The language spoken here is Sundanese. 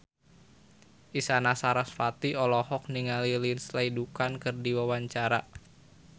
Isyana Sarasvati olohok ningali Lindsay Ducan keur diwawancara